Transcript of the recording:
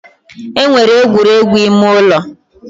E nwere egwuregwu ime ụlọ